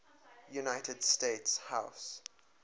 united states house